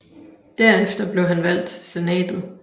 Derefter blev han valgt til Senatet